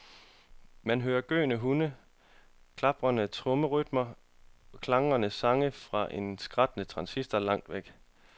Man hørte gøende hunde, klaprende trommerytmer og klagende sang fra en skrattende transistor langt væk.